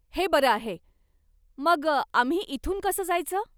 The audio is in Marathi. हे बरं आहे. मग आम्ही इथून कसं जायचं?